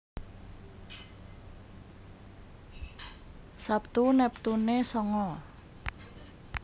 Sabtu neptune sanga